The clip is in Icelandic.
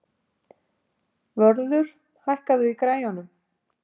Vörður, hækkaðu í græjunum.